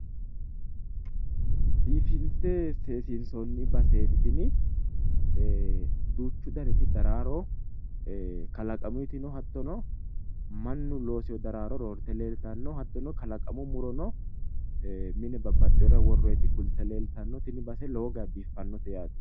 biifinse seesinsoonni baseeti tini duuchu daniti daraaro kalaqamuyiti no hattono mannu loosinoti daraaro roorte leeltanno hattono kalaqamu muro no mine babbaxxinorira worroyiti fulte leeltaho tini base lowo geha biiffannote yaate.